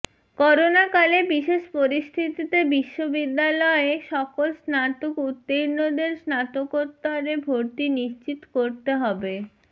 করোনাকালে বিশেষ পরিস্থিতিতে বিশ্ববিদ্যালয়ে সকল স্নাতক উত্তীর্ণদের স্নাতকোত্তরে ভর্তি নিশ্চিত করতে হবে